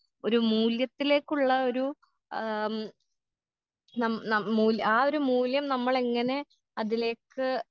ഒരു മൂല്യത്തിലേക്കുള്ള ഒരു ആം നം നം മൂല്യ ആ ഒരു മൂല്യം നമ്മളെങ്ങനെ അതിലേക്ക്.